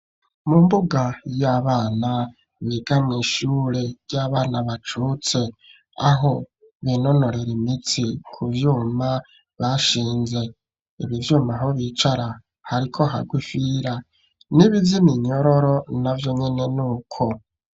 Mu mbuga y'abana biga mw'ishure ry'abana bacutse, aho binonorera imitsi ku vyuma bashinze. Ibi vyuma, aho bicara hariko hagwa ifira. N'ibi vy'iminyororo navyo nyene ni uko.